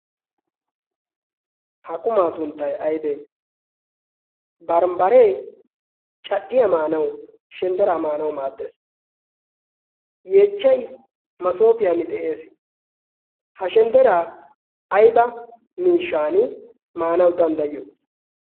ha qumaa sunttay aybee bambbaree cadhdhiya maanawu shenddera maanawu maaddees yeechchai masoofiyan de'ees ha shendderaa ayba miishan maanawu danddayyo